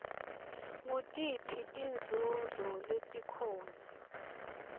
ngutiphi tinzunzo letikhona